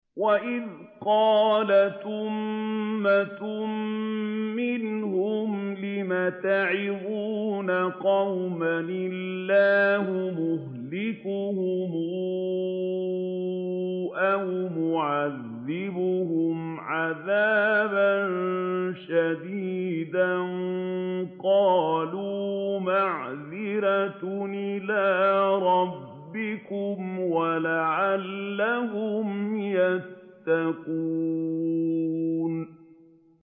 وَإِذْ قَالَتْ أُمَّةٌ مِّنْهُمْ لِمَ تَعِظُونَ قَوْمًا ۙ اللَّهُ مُهْلِكُهُمْ أَوْ مُعَذِّبُهُمْ عَذَابًا شَدِيدًا ۖ قَالُوا مَعْذِرَةً إِلَىٰ رَبِّكُمْ وَلَعَلَّهُمْ يَتَّقُونَ